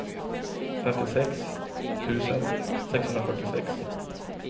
femtiosex tusen sexhundrafyrtiosex